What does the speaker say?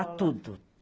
Ah, tudo.